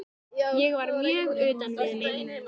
Ég var mjög utan við mig.